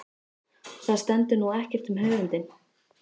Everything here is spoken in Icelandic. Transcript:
Það stendur nú ekkert um höfundinn.